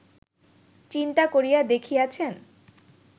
চিন্তা করিয়া দেখিয়াছেন